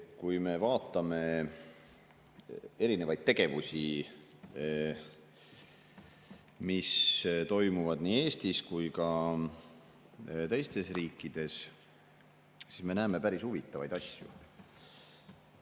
Kui me vaatame erinevaid tegevusi, mis toimuvad nii Eestis kui ka teistes riikides, siis me näeme päris huvitavaid asju.